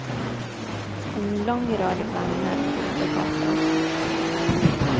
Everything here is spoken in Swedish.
En lång rad vagnar fyllde gatan.